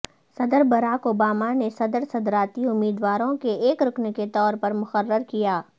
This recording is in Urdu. صدر براک اوبامہ نے صدر صدارتی امیدواروں کے ایک رکن کے طور پر مقرر کیا